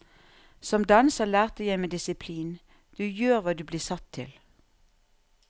Som danser lærte jeg meg disiplin, du gjør hva du blir satt til.